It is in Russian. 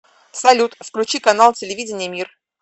салют включи канал телевидения мир